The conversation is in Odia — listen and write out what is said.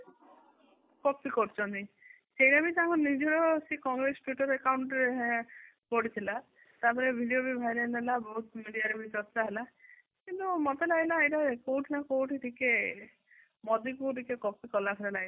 copy କରୁକହନ୍ତି ସେଇଟା ବି ତାଙ୍କ ନିଜର ସେ କଂଗ୍ରେସ twitter accout ରେ ପଡିଥିଲା ତାପରେ video ବି ଭାଇରାଲ ହେଲା ବହୁତ media ରେ ବି ଚର୍ଚ୍ଚା ହେଲା କିନ୍ତୁ ମତେ ଲାଗିଲା ଏଇଟା କୋଉଠି ନ କୋଉଠି ଟିକେ ମୋଦୀ କୁ ଟିକେ copy କଳା ଭଳିଆ ଲାଗିଲା